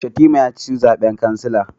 Shatima ya ci zaben kansila